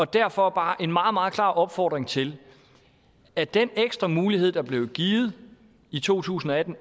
derfor bare en meget meget klar opfordring til at den ekstra mulighed der blev givet i to tusind og atten